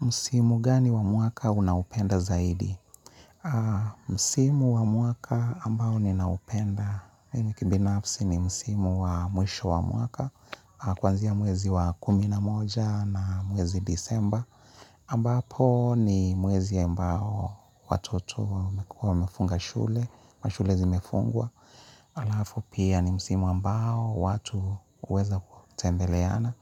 Msimu gani wa mwaka unaopenda zaidi? Msimu wa mwaka ambao ninaupenda. Mimi kibinafsi ni msimu wa mwisho wa mwaka. Kuanzia mwezi wa kumi na moja na mwezi desemba. Ambapo ni mwezi ambao watoto wamefunga shule. Mashule zimefungwa. Halafu pia ni msimu ambao watu huweza kutembeleana.